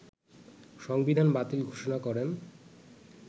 সংবিধান বাতিল ঘোষণা করেন